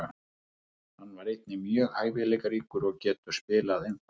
Hann er einnig mjög hæfileikaríkur og getur spilað einfalt.